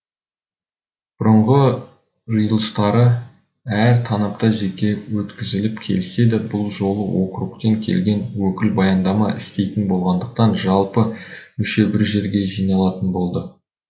бұрынғы жиылыстары әр танапта жеке өткізіліп келсе де бұл жолы округтен келген өкіл баяндама істейтін болғандықтан жалпы мүше бір жерге жиналатын болды